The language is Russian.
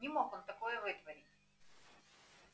не мог он такое вытворить